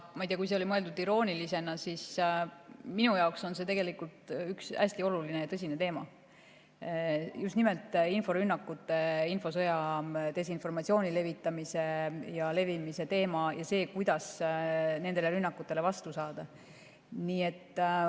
Ma ei tea, kas see oli mõeldud iroonilisena, aga minu jaoks on see tegelikult üks hästi oluline ja tõsine teema – just nimelt inforünnakutes ja infosõjas desinformatsiooni levitamise ja levimise teema ning see, kuidas nendele rünnakutele vastu saada.